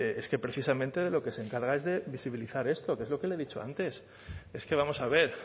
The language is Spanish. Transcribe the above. es que precisamente de lo que se encarga es de visibilizar esto que es lo que le he dicho antes es que vamos a ver